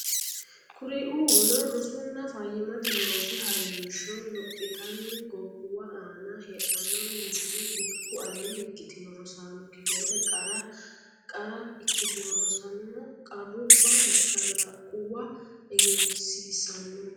Kuriuuno rosunna fayyimmate loosi ha rinsho lophitanni gobbuwa aana heedhannore Misile Bikku aleenni ikkitino rosaano kifilete qara qara ikkitino rossanna qarrubba mashalaqquwa egensiisanno.